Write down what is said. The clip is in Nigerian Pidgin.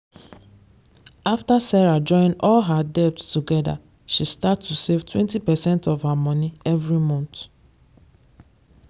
after sarah join all her debts together she start to save 20 percent of her money every month.